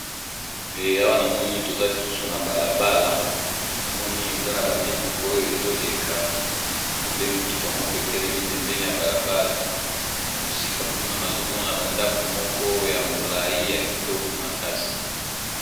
peya wanamoni toza lisusu na balabala namoni eza na bamituka oyo ezoleka namoni pe mituka moko etelemi pembeni ya balabala na mosika kuna nazomona bandako moko ya molai ya kitoko makasi